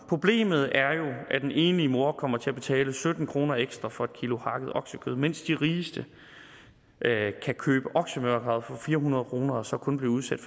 problemet er jo at den enlige mor kommer til at betale sytten kroner ekstra for et kilo hakket oksekød mens de rigeste kan købe oksemørbrad for fire hundrede kroner og så kun blive udsat